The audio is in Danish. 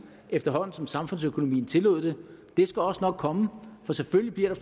efterhånden som samfundsøkonomien tillod det det skal også nok komme for selvfølgelig bliver der